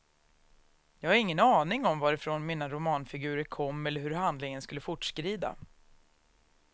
Jag har ingen aning om varifrån mina romanfigurer kom eller hur handlingen skulle fortskrida.